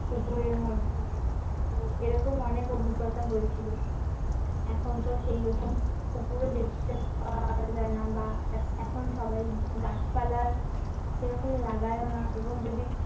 পুকুরের মধ্যে তো এরকম অনেক অভিজ্ঞতা হয়েছিল এখন তো সেরকম পুকুরও দেখতে পাওয়া যায় না বা এখন সবাই গাছপালা সেরকম লাগাইও না এবং যদি